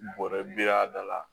Bɔrɛ bi y'a da la